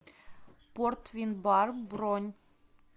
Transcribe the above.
порт вин бар бронь